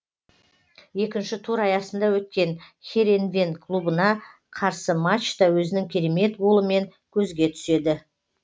екінші тур аясында өткен херенвен клубына қарсы матчта өзінің керемет голымен көзге түседі